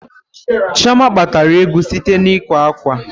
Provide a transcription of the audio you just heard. Chioma kpatara ego site na ịkwa ákwà.